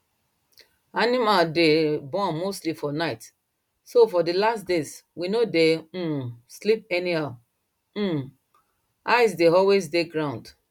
animal day born mostly for night so for the last days we no day um sleep anyhow um eye day always day ground